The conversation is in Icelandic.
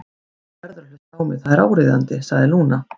Þú verður að hlusta á mig, það er áríðandi, sagði Lúna.